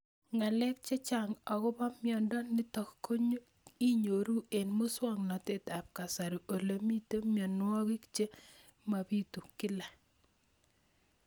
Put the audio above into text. Ng'alek chechang' akopo miondo nitok inyoru eng' muswog'natet ab kasari ole mito mianwek che mapitu kila